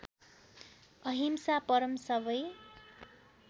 अहिंसा परम सबै